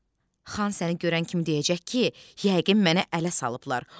xan səni görən kimi deyəcək ki, yəqin mənə ələ salıblar.